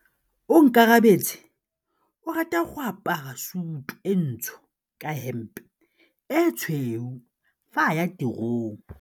Onkabetse o rata go apara sutu e ntsho ka hempe e tshweu fa a ya tirong.